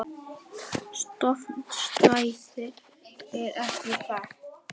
Stofnstærðin er ekki þekkt.